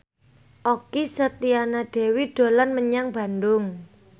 Okky Setiana Dewi dolan menyang Bandung